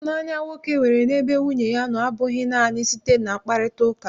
Ịhụnanya nwoke nwere n'ebe nwunye ya nọ abụghị naanị site na mkparịtaụka.